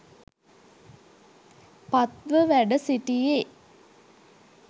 පත්ව වැඩ සිටියේ